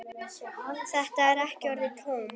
Þetta eru ekki orðin tóm.